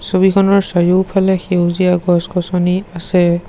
ছবিখনৰ চাৰিওফালে সেউজীয়া গছ গছনি আছে।